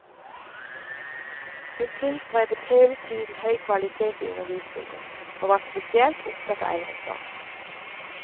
Hun tilstrebet hele tiden høy kvalitet i undervisningen, og var spesielt opptatt av eldreomsorg.